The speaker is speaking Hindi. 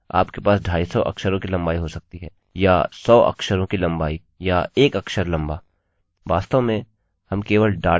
वास्तव में हम केवल डेटा का टाइप और लंबाई संचय कर रहे हैं